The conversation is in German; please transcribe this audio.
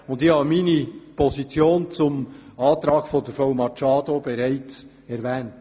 Ich habe meine Position zum Antrag von Frau Machado bereits erwähnt.